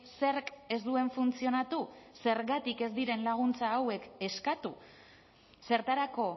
zerk ez duen funtzionatu zergatik ez diren laguntza hauek eskatu zertarako